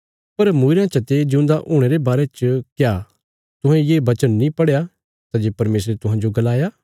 पर मूईरयां चते जिऊंदा हुणे रे बारे च क्या तुहें ये बचन नीं पढ़या सै जे परमेशरे तुहांजो गलाया